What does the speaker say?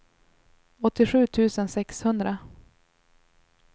åttiosju tusen sexhundra